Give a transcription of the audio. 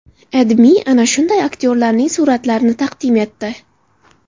AdMe ana shunday aktyorlarning suratlarini taqdim etdi .